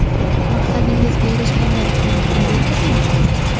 Maqsadingizga erishgandan keyin qanday ko‘rinasiz?